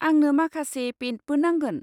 आंनो माखासे पेइन्टबो नांगोन।